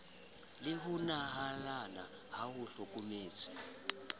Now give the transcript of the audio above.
le ho nehalana a hlokometse